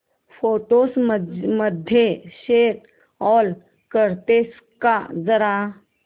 photos मध्ये show all करतेस का जरा